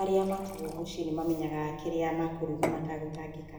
arĩa matigũo mũciĩ nĩ mamenyaga kĩrĩa mekũruga matagũtangĩka.